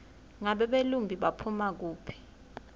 ngabe belumbi baphuma kuphi